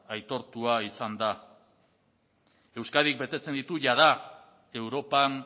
aitortua izan da euskadik betetzen ditu jada europan